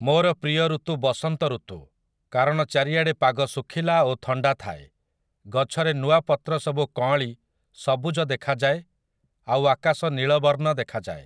ମୋର ପ୍ରିୟ ଋତୁ ବସନ୍ତ ଋତୁ, କାରଣ ଚାରିଆଡ଼େ ପାଗ ଶୁଖିଲା ଓ ଥଣ୍ଡା ଥାଏ, ଗଛରେ ନୂଆ ପତ୍ରସବୁ କଁଅଳି ସବୁଜ ଦେଖାଯାଏ ଆଉ ଆକାଶ ନୀଳବର୍ଣ୍ଣ ଦେଖାଯାଏ ।